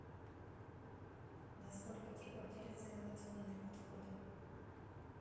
на сколько типов делятся инновационные подходы